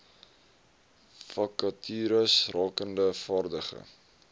vakatures rakende vaardige